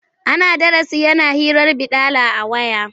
Ana darasi yana hirar baɗala a waya.